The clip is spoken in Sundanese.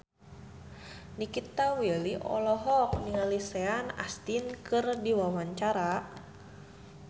Nikita Willy olohok ningali Sean Astin keur diwawancara